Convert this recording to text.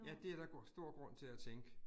Ja, det er der stor grund til at tænke